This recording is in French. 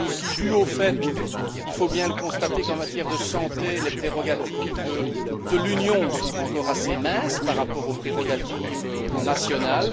C'est aussi dû au fait, il faut bien le constater, qu'en matière de santé, les prérogatives de l'Union sont encore assez minces par rapport aux prérogatives nationales.